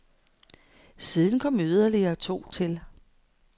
Siden kom yderligere to til.